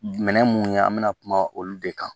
Minɛn mun ye an bɛ na kuma olu de kan